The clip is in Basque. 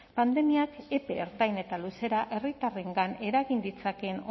pandemiak epe ertain eta luzera herritarrengan eragin ditzakeen